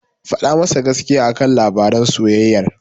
Faɗa masa gaskiya a kan labaran soyayyar.